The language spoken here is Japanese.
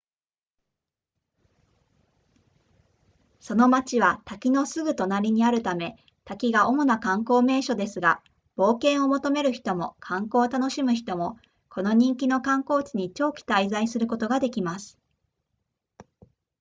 その町は滝のすぐ隣にあるため滝が主な観光名所ですが冒険を求める人も観光を楽しむ人もこの人気の観光地に長期滞在することができます